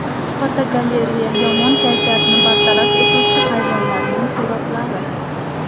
Fotogalereya: Yomon kayfiyatni bartaraf etuvchi hayvonlarning suratlari.